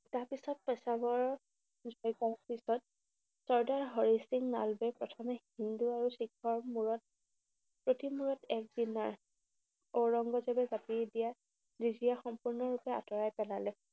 তাৰপিছত পেছৱাৰৰ যুঁজৰ পিছত চৰ্দাৰ হৰি সিং নলৱাই প্ৰথমে হিন্দু আৰু শিখৰ মূৰত প্ৰতিমূৰত এক দিনা ঔৰংজেৱে পাতি দিয়া ৰেজিয়া সম্পূৰ্ণৰূপে আঁতৰাই পেলালে।